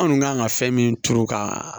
Anw kan ka fɛn min turu ka